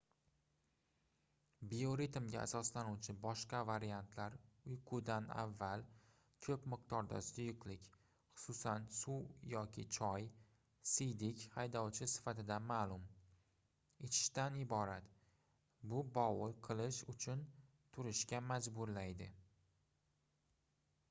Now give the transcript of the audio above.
bioritmga asoslanuvchi boshqa variantlar uyqudan avval ko'p miqdorda suyuqlik xususan suv yoki choy siydik haydovchi sifatida ma'lum ichishdan iborat bu bovul qilish uchun turishga majburlaydi